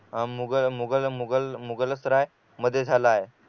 अह मुगल मुगल मुगल मुगलसराय मध्ये झाला आहे